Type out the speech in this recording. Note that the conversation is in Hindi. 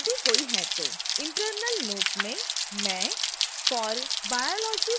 internal note में मैं for biology section टाइप करुँगी